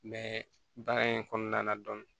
Mɛ baara in kɔnɔna na dɔn